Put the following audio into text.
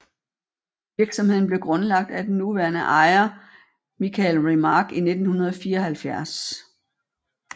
Virksomheden blev grundlagt af den nuværende ejer Michael Remark i 1974